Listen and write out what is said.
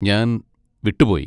ഞാൻ വിട്ടുപോയി.